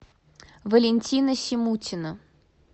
валентина симутина